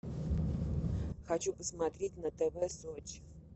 хочу посмотреть на тв сочи